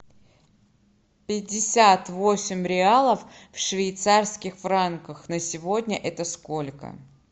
пятьдесят восемь реалов в швейцарских франках на сегодня это сколько